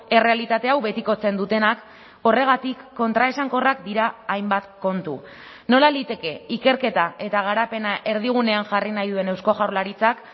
errealitate hau betikotzen dutenak horregatik kontraesankorrak dira hainbat kontu nola liteke ikerketa eta garapena erdigunean jarri nahi duen eusko jaurlaritzak